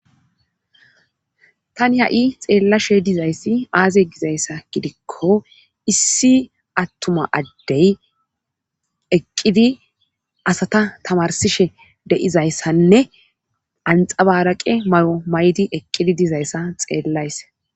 Tani ha7i xeellashe dizayssi aaze gizayssa gidikko issi attuma addey eqqidi asata tamarsishe deizayssanne anxabaraqe may7o maydi eqqidi dizayssa xeellayse.